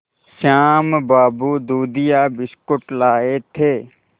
श्याम बाबू दूधिया बिस्कुट लाए थे